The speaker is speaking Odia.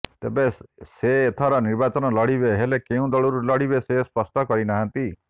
ତେବେ ସେ ଏଥର ନିର୍ବାଚନ ଲଢ଼ିବେ ହେଲେ କେଉଁ ଦଳରୁ ଲଢ଼ିବେ ସେ ସ୍ପଷ୍ଟ କରିନାହାନ୍ତି